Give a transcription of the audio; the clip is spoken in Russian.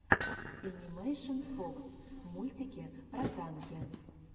энимэйшн фокс мультики про танки